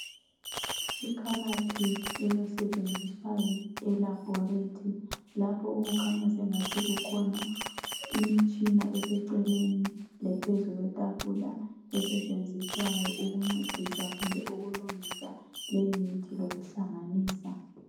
Ikhabathi eyosetshenziswayo elabhorethi. Lapho okukhanya sengathi kukhona imitshina eseceleni lephezu kwetafula, esetshenziswayo ukuncedisa kumbe ukulungisa leyimithi lokuhlanganisa.